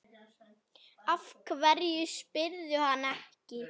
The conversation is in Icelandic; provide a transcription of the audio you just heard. Af hverju spyrðu hann ekki?